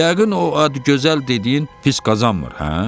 Yəqin o Adıgözəl dediyin pis qazanmır, hə?